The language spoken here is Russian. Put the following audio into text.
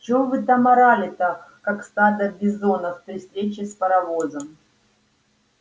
чего вы там орали-то как стадо бизонов при встрече с паровозом